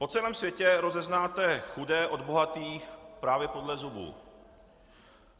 Po celém světě rozeznáte chudé od bohatých právě podle zubů.